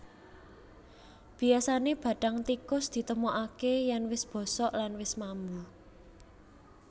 Biyasané bathang tikus ditemokaké yèn wis bosok lan wis mambu